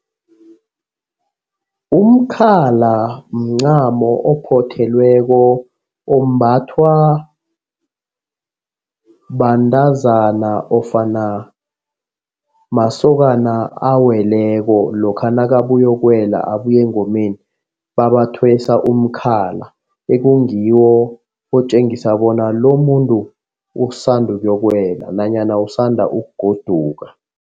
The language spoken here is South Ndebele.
Umkhala mncamo ophothelweko ombathwa bantazana nofana masokana aweleko lokha nakabuya ukuyokuwela abuya engomeni babathwesa umkhala. Ekungiwo otjengisa bona lomuntu osanda ukuyokuwela nanyana usanda ukugoduka.